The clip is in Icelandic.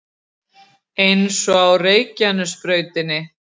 Eins og á Reykjanesbrautinni